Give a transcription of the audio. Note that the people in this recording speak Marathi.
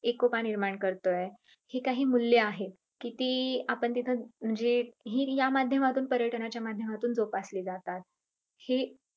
हि एकोपा निर्माण करतंय, हि काही मूल्य आहेत कि ती आपण तिथं म्हणजे हि ह्या माध्यमातून पर्यटनाच्या माध्यमातून जोपासली जातात.